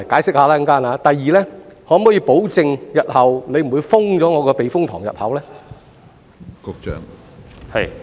此外，局長可否保證日後不會關閉避風塘入口呢？